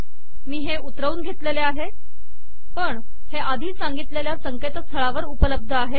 मी हे उतरवून धेतलेले आहे पण हे आधी सांगितलेल्या संकेतस्थळावर उपलब्ध आहे